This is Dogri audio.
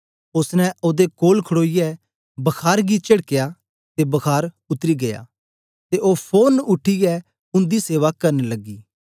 ओसने ओदे कोल खडोईयै बखार गी चेडकया ते बखार उतरी गीया ते ओ फोरन उठीयै उन्दी सेवा करन लग्गी